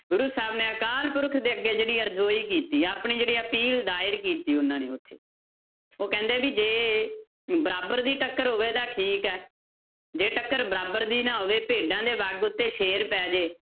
ਗੁਰੂ ਸਾਹਿਬ ਨੇ ਅਕਾਲ ਪੁਰਖ ਦੇ ਅੱਗੇ ਜਿਹੜੀ ਅਰਜੋਈ ਕੀਤੀ, ਆਪਣੀ ਜਿਹੜੀ ਅਪੀਲ ਦਾਇਰ ਕੀਤੀ ਉਹਨਾਂ ਨੇ ਉੱਥੇ, ਕਹਿੰਦੇ ਵੀ ਜੇ ਬਰਾਬਰ ਦੀ ਟੱਕਰ ਹੋਵੇ ਤਾਂ ਠੀਕ ਹੈ, ਜੇ ਟੱਕਰ ਬਰਾਬਰ ਦੀ ਨਾ ਹੋਵੇ ਭੇਡਾਂ ਦੇ ਵੱਗ ਉੱਤੇ ਸ਼ੇਰ ਪੈ ਜਾਏ